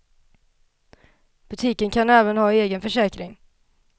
Butiken kan även ha en egen försäkring.